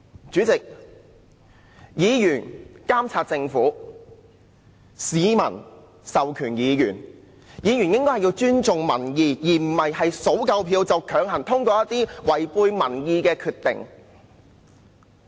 主席，議員監察政府，議員由市民授權，議員應該尊重民意，而不是票數足夠便強行通過一些違背民意的項目。